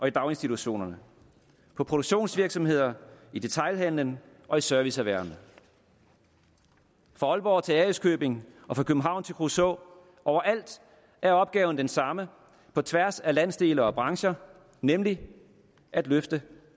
i daginstitutioner på produktionsvirksomheder i detailhandel og i serviceerhverv fra aalborg til ærøskøbing og fra københavn til kruså overalt er opgaven den samme på tværs af landsdele og brancher nemlig at løfte